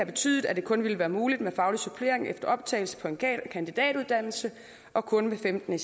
betydet at det kun ville være muligt med faglig supplering efter optagelse på en kandidatuddannelse og kun med femten